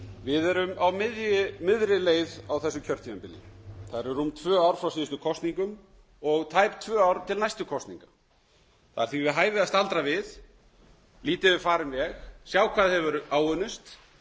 við erum á miðri leið á þessu kjörtímabili það eru rúm tvö ár frá síðustu kosningum og tæp tvö ár til næstu kosninga það er því við hæfi að staldra við líta yfir farinn veg sjá hvað hefur unnist